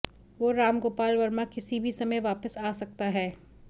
वो राम गोपाल वर्मा किसी भी समय वापस आ सकता है